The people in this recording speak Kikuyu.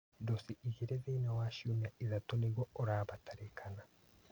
Ndosi igĩrĩ thĩinĩ wa ciumia ithatũ nĩguo ũrabatarĩkana